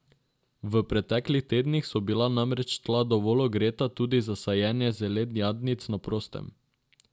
V pretklih tednih so bila namreč tla dovolj ogreta tudi za sajenje zelenjadnic na prostem.